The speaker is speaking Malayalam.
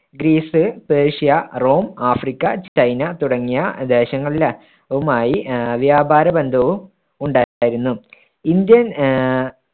Greece, Persia, Rome, Africa, China തുടങ്ങിയ ദേശങ്ങളുടെ ആഹ് വ്യാപാര ബന്ധവും ഉണ്ടായിരുന്നു. ഇന്ത്യന്‍ ആഹ്